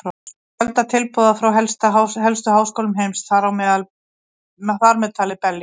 Hann fékk fjölda tilboða frá helstu háskólum heims, þar með talið Berlín.